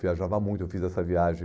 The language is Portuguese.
Viajava muito, eu fiz essa viagem.